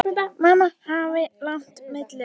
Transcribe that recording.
Margir hafa lagt málinu lið.